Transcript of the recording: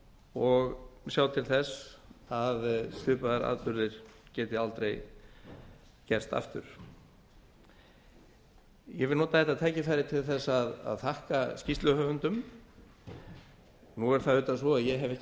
og sjá til þess að svipaðir atburðir geti aldrei gerst aftur ég vil nota þetta tækifæri til að þakka skýrsluhöfundum nú er það auðvitað svo að ég hef ekki